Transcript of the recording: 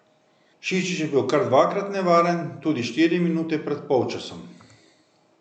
Šišić je bil kar dvakrat nevaren tudi štiri minute pred polčasom.